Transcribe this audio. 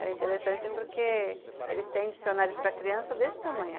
Era interessante porque eles têm dicionários para criança desse tamanho.